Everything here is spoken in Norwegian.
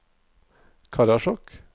Karasjok